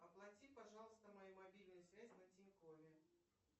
оплати пожалуйста мою мобильную связь на тинькове